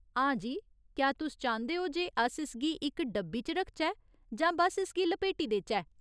हां जी, क्या तुस चांह्दे ओ जे अस इसगी इक डब्बी च रखचै जां बस्स इसगी लपेटी देचै ?